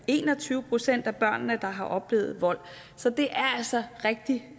en og tyve procent af børn i misbrugsfamilier der har oplevet vold så det er altså rigtig